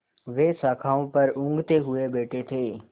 वे शाखाओं पर ऊँघते हुए से बैठे थे